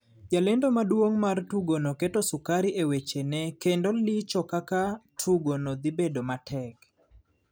Jalendo maduong mar tugo no keto sukari e weche ne kendo licho kaka tugo no dhi bedo matek.